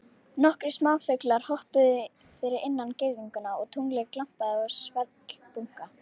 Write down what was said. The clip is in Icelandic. Nokkrir smáfuglar hoppuðu fyrir innan girðinguna og tunglið glampaði á svellbunka.